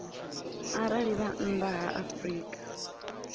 arali vha nnḓa ha afrika